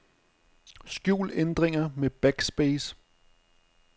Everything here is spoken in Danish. Skjul ændringer med backspace.